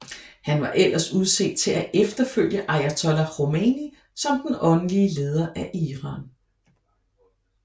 Han var ellers udset til at efterfølge ayatollah Khomeini som den åndelige leder af Iran